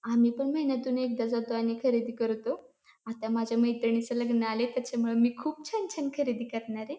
आम्ही पण महिन्यातून एकदा जातो आणि खरेदी करतो. आता माझ्या मैत्रिणीच लग्न आलय तेच्यामुळ मी खुप छान छान खरेदी करणारय.